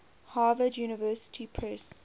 harvard university press